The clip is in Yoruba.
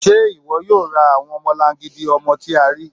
Ṣé iwó̩ yóò rá awọn ọmọ̀làngídì ọmọ̀ tì à ríí?